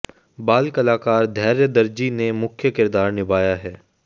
बाल कलाकार धैर्य दर्जी ने मुख्य किरदार निभाया है